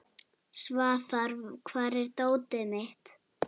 Svafar, hvar er dótið mitt?